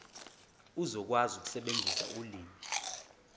uzokwazi ukusebenzisa ulimi